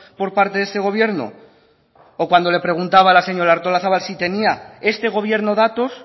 por parte de este gobierno o cuando le preguntaba a la señora artolazabal si tenía este gobierno datos